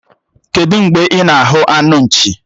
Kedụ mgbe ị na-ahụ anụ nchi?